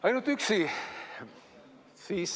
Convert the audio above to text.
Ainult üksi?